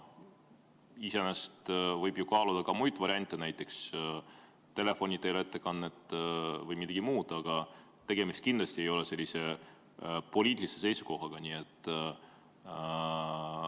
Iseenesest võib ju kaaluda ka muid variante, näiteks telefoni teel esitamist või midagi muud, aga kindlasti ei ole tegemist poliitilise seisukohavõtuga.